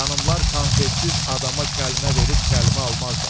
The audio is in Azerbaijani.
Xanımlar konfetsiz adama kəlmə verib kəlmə almazlar.